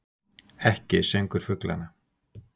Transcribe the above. Ekki söngur fuglanna.